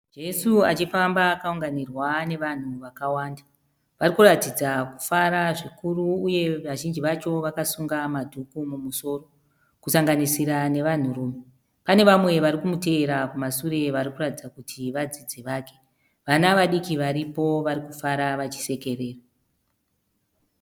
Jesu achifamba akaunganirwa nevanhu vakawanda. Varikuratidza kufara zvikuru uye vazhinji vacho vakasunga madhuku mumusoro, kusanganisira nevanhurume. Pane vamwe varikumuteera kumasure varikuratidza kuti vadzidzi vake. Vana vadiiki varipo varikufara vachisekerera.